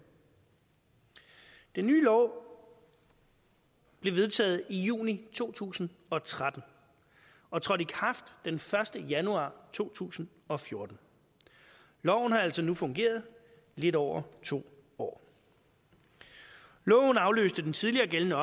den nye lov blev vedtaget i juni to tusind og tretten og trådte i kraft den første januar to tusind og fjorten loven har altså nu fungeret i lidt over to år loven afløste den tidligere gældende